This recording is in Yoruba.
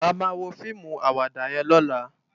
Àmá wó fiimú àwàdá yèn lòlá